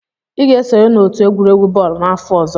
Ị ga-esonye n'otu egwuregwu bọọlụ n'afọ ọzọ!